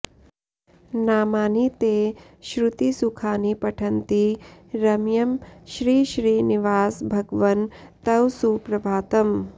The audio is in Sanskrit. नामानि ते श्रुतिसुखानि पठन्ति रम्यं श्रीश्रीनिवास भगवन् तव सुप्रभातम्